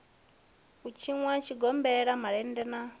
u tshinwa zwigombela malende na